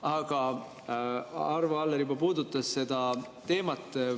Aga Arvo Aller juba puudutas seda teemat.